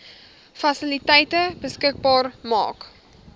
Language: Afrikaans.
fasiliteite beskikbaar maak